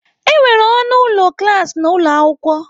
Enwere ọnụ ụlọ klas na ụlọ akwụkwọ.